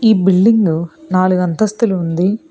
ఈ బిల్డింగు నాలుగు అంతస్తులు ఉంది.